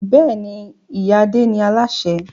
Bẹ́ẹ̀ni, ìyá Adé ni Aláṣẹ